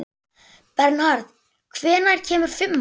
Bernharð, hvenær kemur fimman?